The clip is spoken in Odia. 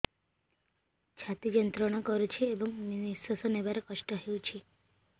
ଛାତି ଯନ୍ତ୍ରଣା କରୁଛି ଏବଂ ନିଶ୍ୱାସ ନେବାରେ କଷ୍ଟ ହେଉଛି